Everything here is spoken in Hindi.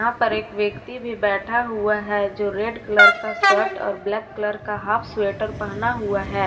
यहां पर एक व्यक्ति भी बैठा हुआ है जो रेड कलर का शर्ट और ब्लैक कलर का हाफ स्वेटर पहना हुआ।